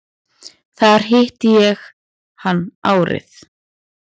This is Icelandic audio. Þar hitti ég hann árið